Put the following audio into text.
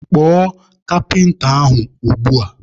Kpọọ kapịnta ahụ ugbua!